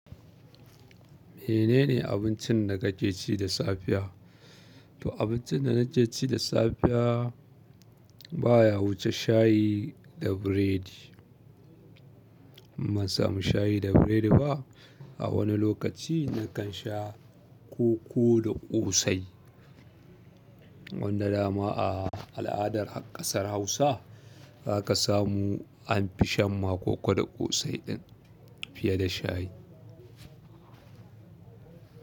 Menene abincin da kake ci da safiya? To abincin da nake ci da safiya baya wuce shayi da biredi. Im ban samu shayi da biredi ba. A wani lokaci na kan sha koko da ƙosai. Wanda dama a al'adar ƙasar Hausa za ka samu an fi shan ma koko da ƙosai din fiye da shayi.